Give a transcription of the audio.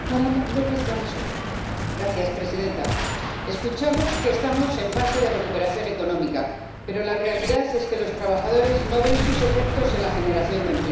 Señora presidenta, escuchamos que estamos en fase de recuperación económica, pero la realidad es que los trabajadores no ven sus efectos en la generación de empleo.